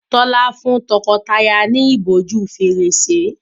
Tola fún tọkọtaya ní ìbòjú Fèrèsé